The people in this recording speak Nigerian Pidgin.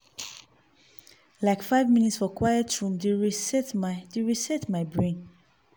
like five minute for quiet room dey reset my dey reset my brain.